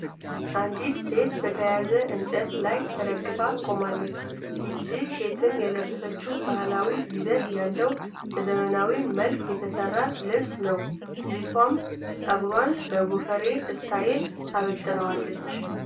አንዲት ሴት በተያያዘ እንጨት ላይ ተደግፋ ቆማለች። ይህች ሴትም የለበሰችው ባህላዊ ይዘት ያለው በዘመናዊ መልክ የተሰራ ልብስን ነው። ልጅቷም ጸጉሯን በጎፈሬ ስታይል አበጥራዋለች።